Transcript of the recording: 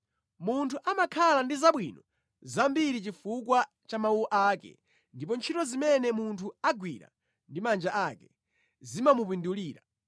Munthu amakhala ndi zabwino zambiri chifukwa cha mawu ake ndipo ntchito zimene munthu agwira ndi manja ake zimamupindulira.